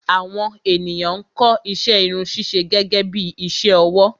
Àwọn ènìyàn ń kọ́ iṣẹ́ Irun ṣíṣe gẹ́gẹ́bí iṣẹ́ ọwọ́